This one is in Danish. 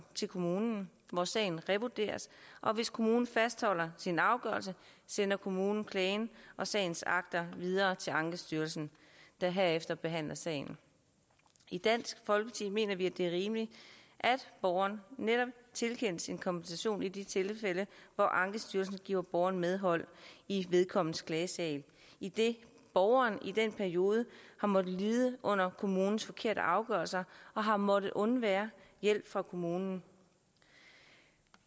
til kommunen hvor sagen revurderes og hvis kommunen fastholder sin afgørelse sender kommunen klagen og sagens akter videre til ankestyrelsen der herefter behandler sagen i dansk folkeparti mener vi at det er rimeligt at borgeren netop tilkendes en kompensation i de tilfælde hvor ankestyrelsen giver borgeren medhold i vedkommendes klagesag idet borgeren i den periode har måttet lide under kommunens forkerte afgørelse og har måttet undvære hjælp fra kommunen